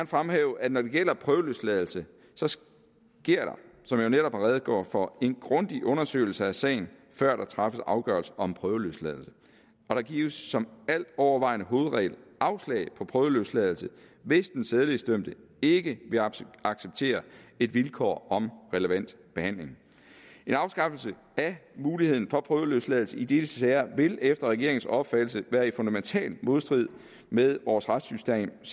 fremhæve at når det gælder prøveløsladelse så sker der som jeg netop har redegjort for en grundig undersøgelse af sagen før der træffes afgørelse om prøveløsladelse og der gives som altovervejende hovedregel afslag på prøveløsladelse hvis den sædelighedsdømte ikke vil acceptere acceptere et vilkår om relevant behandling en afskaffelse af muligheden for prøveløsladelse i disse sager vil efter regeringens opfattelse være i fundamental modstrid med vores retssystems